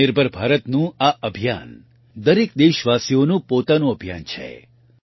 આત્મનિર્ભર ભારતનું આ અભિયાન દરેક દેશવાસીઓનું પોતાનું અભિયાન છે